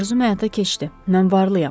Arzu həyata keçdi, mən varlıyam.